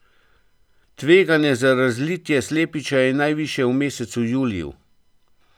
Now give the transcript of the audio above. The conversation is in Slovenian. Tveganje za razlitje slepiča je najvišje v mesecu juliju.